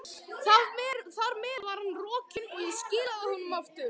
Þar með var hann rokinn, og ég skilaði honum aftur.